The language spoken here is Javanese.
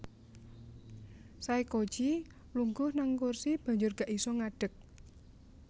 Saykoji lungguh nang kursi banjur gak iso ngadeg